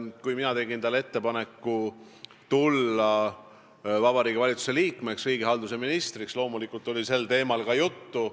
Kui mina tegin talle ettepaneku tulla Vabariigi Valitsuse liikmeks, riigihalduse ministriks, siis loomulikult oli sel teemal juttu.